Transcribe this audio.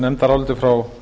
nefndaráliti frá